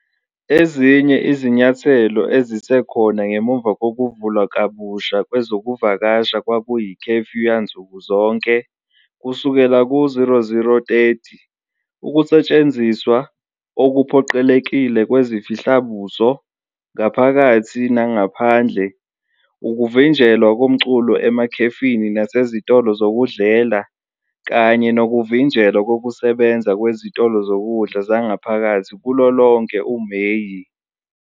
Ezinye izinyathelo ezisekhona ngemuva kokuvulwa kabusha kwezokuvakasha kwakuyi-curfew yansuku zonke, kusukela ku-00:30, ukusetshenziswa okuphoqelekile kwezifihla-buso ngaphakathi nangaphandle, ukuvinjelwa komculo emakhefini nasezitolo zokudlela, kanye nokuvinjelwa kokusebenza kwezitolo zokudla zangaphakathi kulo lonke uMeyi.